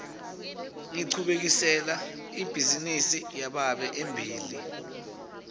ngichubekisela ibhizinisi yababe embili